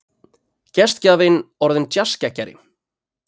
Gestgjafinn orðinn djassgeggjari.